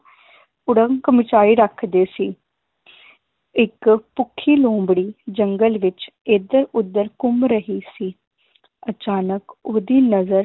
ਕੁੜੰਕ ਮਚਾਈ ਰੱਖਦੇ ਸੀ ਇੱਕ ਭੁੱਖੀ ਲੋਮੜੀ ਜੰਗਲ ਵਿਚ ਏਧਰ ਓਧਰ ਘੁੰਮ ਰਹੀ ਸੀ ਅਚਾਨਕ ਓਹਦੀ ਨਜ਼ਰ